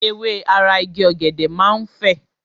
Ewé ara Igi ọ̀gẹ̀dẹ̀ máa ń fè.